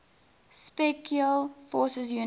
special forces units